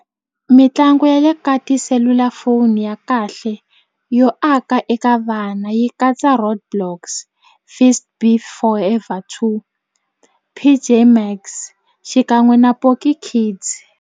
Mitlangu ya le ka tiselulafoni ya kahle yo aka eka vana yi katsa roadblocks fist beef forever two P_J Max xikan'we na Poki kids.